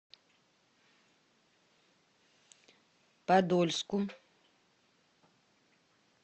подольску